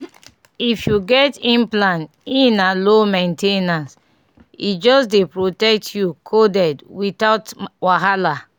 if you get implant e na low main ten ance — e just dey protect you coded without wahala.